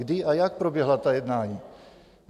Kdy a jak proběhla ta jednání?